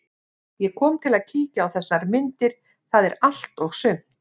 Ég kom til að kíkja á þessar myndir, það er allt og sumt.